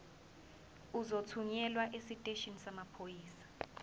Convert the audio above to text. uzothunyelwa esiteshini samaphoyisa